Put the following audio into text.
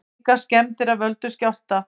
Engar skemmdir af völdum skjálfta